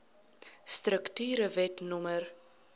strukture wet no